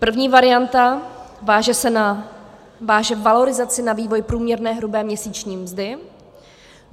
První varianta váže valorizaci na vývoj průměrné hrubé měsíční mzdy.